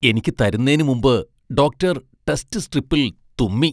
എനിക്ക് തരുന്നേന് മുമ്പ് ഡോക്ടർ ടെസ്റ്റ് സ്ട്രിപ്പിൽ തുമ്മി.